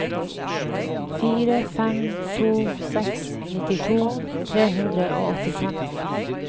fire fem to seks nittito tre hundre og åttifem